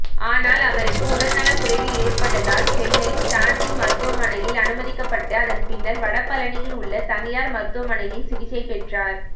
ஆனால் அவருக்கு உடல்நலக்குறைவு ஏற்பட்டதால் சென்னை ஸ்டான்லி மருத்துவமனையில் அனுமதிக்கப்பட்டு அதன்பின்னர் வடபழனியில் உள்ள தனியார் மருத்துவமனையில் சிகிச்சை பெற்றார்